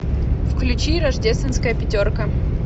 включи рождественская пятерка